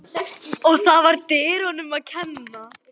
Og það var dyraverðinum að kenna.